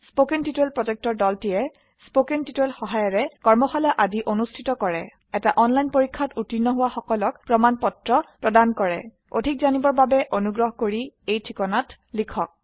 কথন শিক্ষণ প্ৰকল্পৰ দলটিয়ে কথন শিক্ষণ সহায়িকাৰে কৰ্মশালা আদি অনুষ্ঠিত কৰে এটা অনলাইন পৰীক্ষাত উত্তীৰ্ণ হোৱা সকলক প্ৰমাণ পত্ৰ প্ৰদান কৰে অধিক জানিবৰ বাবে অনুগ্ৰহ কৰি contactspoken tutorialorg এই ঠিকনাত লিখক